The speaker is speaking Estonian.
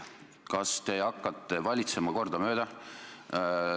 Kas te hakkate valitsema kordamööda?